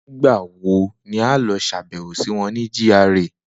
Nigbawo ni a yoo ṣabẹwo si wọn ni GRA.